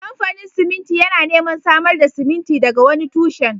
Kamfanin siminti yana neman samar da siminti daga wani tushen